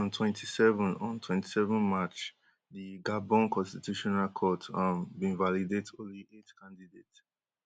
but on 27 on 27 march di gabon constitutional court um bin validate only 8 candidates.